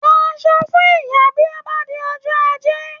Rà asọ fún ìyà bí ó bá di ọjọ́ ajé!